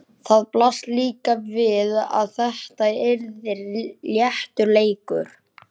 Það blasti líka við að þetta yrði léttur leikur.